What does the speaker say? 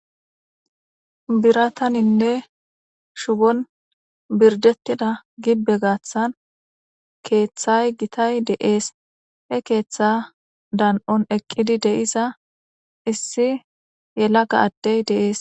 Birataninne shubon birdettida gibbe gaaththan keeththay gitay deees he keetha dan'on eqqidi deiza issi yelaga addey dees